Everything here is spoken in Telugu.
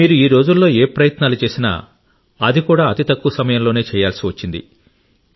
మీరు ఈ రోజుల్లో ఏ ప్రయత్నాలు చేసినా అది కూడా అతి తక్కువ సమయంలోనే చేయాల్సి వచ్చింది